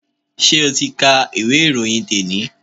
Ṣé ti o ka ìwé ìròyìn te ni?